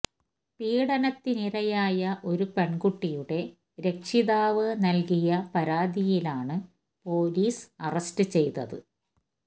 പീഡനത്തിനിരയായ ഒരു പെൺകുട്ടിയുടെ രക്ഷിതാവ് നൽകിയ പരാതിയിലാണ് പൊലീസ് അറസ്റ്റ് ചെയ്തത്